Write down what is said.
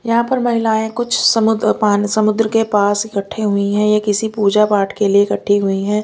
यहां पर महिलाएं कुछ समुद्र पान समुद्र के पास इकट्ठी हुई है ये किसी पूजा पाठ के लिए इकट्ठी हुई हैं।